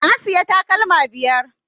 Na siya takalma biyar